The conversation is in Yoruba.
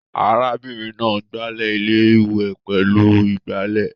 Ará bìnrin náà gbalẹ́ iléwẹ̀ pẹ̀lú igbálẹ̀